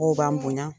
Mɔgɔw b'an bonya